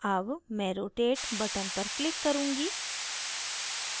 अब मैं rotate button पर click करुँगी